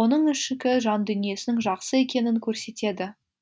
оның ішкі жандүниесінің жақсы екенін көрсетеді